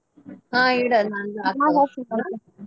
ಹಾ ಇಡ.